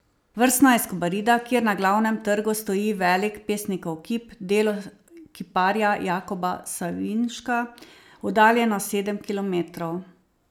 Vrsno je iz Kobarida, kjer na glavnem trgu stoji velik pesnikov kip, delo kiparja Jakoba Savinška, oddaljeno sedem kilometrov.